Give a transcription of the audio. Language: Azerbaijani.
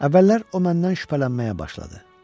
Əvvəllər o məndən şübhələnməyə başladı.